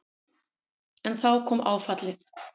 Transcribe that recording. En þá kom áfallið.